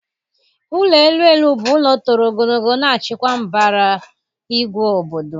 Ụlọ elu elu bụ ụlọ toro ogologo na-achịkwa mbara igwe obodo